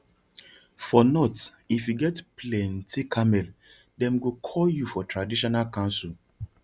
for north if you get plenty camel dem go call you for traditional council